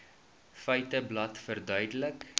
feiteblad verduidelik